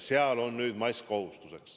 Seal on mask kohustuslik.